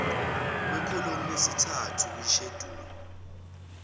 kukholomu yesithathu yesheduli